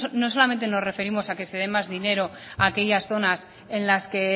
no solamente nos referimos a que se de más dinero a aquellas zonas en las que